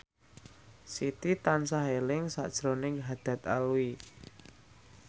Siti tansah eling sakjroning Haddad Alwi